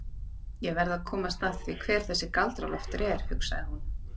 Ég verð að komast að því hver þessi Galdra-Loftur er, hugsaði hún.